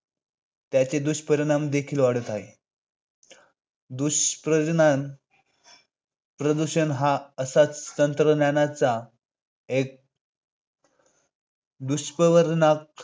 त्याचे दुष्परिणाम देखील वाढत आहेत. दुष्परिणाम 'प्रदूषण' हा असाच तंत्रज्ञानाच्या एक दुष्परिणाम